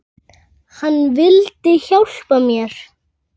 Hann vildi hjálpa mér.